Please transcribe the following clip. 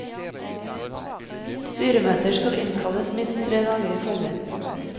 Styremøter skal innkalles minst tre dager i forveien.